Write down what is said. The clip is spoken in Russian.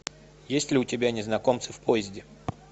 есть ли у тебя незнакомцы в поезде